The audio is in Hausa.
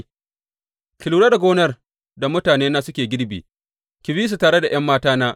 Ki lura da gonar da mutanena suke girbi, ki bi su tare da ’yan matana.